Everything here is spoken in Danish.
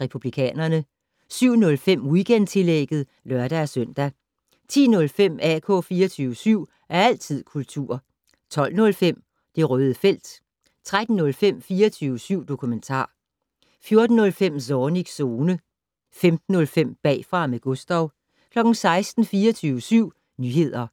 Republikanerne * 07:05: Weekendtillægget (lør-søn) 10:05: AK 24syv. Altid kultur 12:05: Det Røde Felt 13:05: 24syv dokumentar 14:05: Zornigs Zone 15:05: Bagfra med Gustav 16:00: 24syv Nyheder